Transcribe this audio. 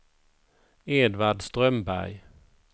Edvard Strömberg